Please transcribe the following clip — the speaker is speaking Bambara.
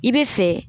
I bɛ fɛ